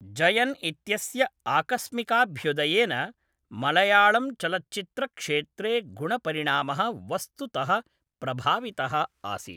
जयन इत्यस्य आकस्मिकाभ्युदयेन मळयाळम् चलच्चित्रक्षेत्रे गुणपरिणामः वस्तुतः प्रभावितः आसीत्।